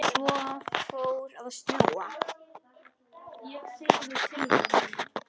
Svo fór að snjóa.